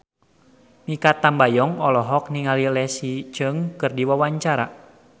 Mikha Tambayong olohok ningali Leslie Cheung keur diwawancara